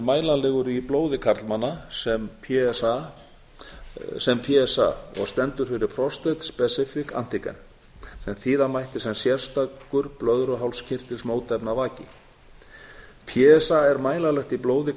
mælanlegur í blóði karlmanna sem p s a og stendur fyrir prostate specific antigen sem þýða mætti sem sértækur blöðruhálskirtilsmótefnavaki p s a er mælanlegt í blóði